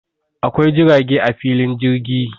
Akwai jirage a filin jirgi